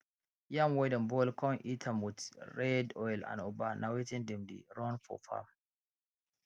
yam wey dem boil con eat am with am red oil and ugba na wetin dem dey run for farm